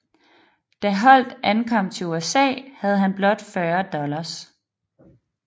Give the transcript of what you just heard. Da Holdt ankom til USA havde han blot 40 dollars